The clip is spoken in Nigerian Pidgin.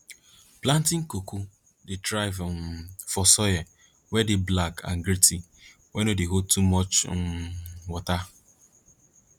planting cocoa dey thrive um for soil wey dey black and gritty wey no dey hold much um water